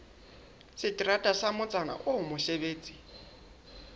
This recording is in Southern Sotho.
seterata sa motsana oo mosebetsi